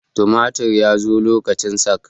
tumatir ya zo lokacin sak